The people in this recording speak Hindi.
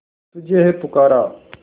तुझे है पुकारा